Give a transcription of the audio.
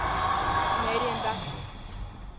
canadian baptists